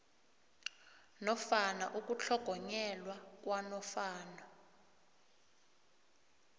nofana ukutlhogonyelwa kwanofana